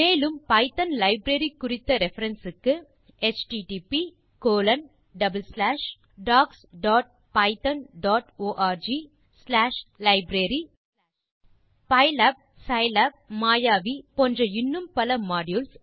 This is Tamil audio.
மேலும் பைத்தோன் லைப்ரரி குறித்த ரெஃபரன்ஸ் க்கு httpdocspythonorglibrary பைலாப் சிப்பி மாயாவி இடிசி போன்ற இன்னும் பல மாடியூல்ஸ்